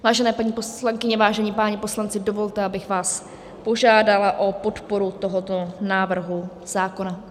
Vážené paní poslankyně, vážení páni poslanci, dovolte, abych vás požádala o podporu tohoto návrhu zákona.